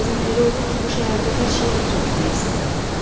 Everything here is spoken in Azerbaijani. Bəzən elə olur ki, bu şəhərdə hər şeyə etiraz etmək istəyirəm.”